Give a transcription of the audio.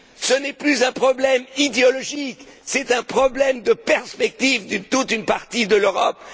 Ce n'est plus un problème idéologique, c'est un problème de perspective de toute une partie de l'Europe.